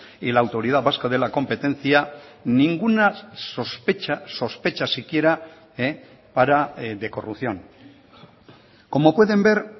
y la autoridad vasca de la competencia ninguna sospecha sospecha siquiera para de corrupción como pueden ver